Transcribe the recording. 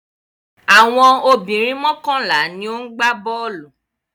Àwọn obìnrin mọ́kànlá ni ó ń gbá bọ́ọ́lù.